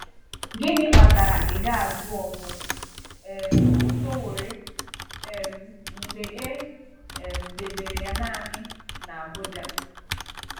Gịnị kpatara ị ga-azụ ọzọ um Sowore um mgbe e um debere ya naanị n’Abụja?